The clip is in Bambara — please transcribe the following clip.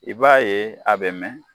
I b'a ye a bɛ mɛn